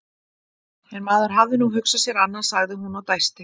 En maður hafði nú hugsað sér annað, sagði hún og dæsti.